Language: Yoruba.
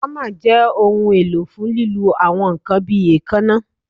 Hammer jẹ ohun elo fun lilu awọn nkan bi eekanna